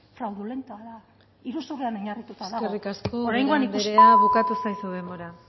fraudulentoa da iruzurrean oinarrituta dago oraingoan ikusi eskerrik asko ubera andrea bukatu zaizu denbora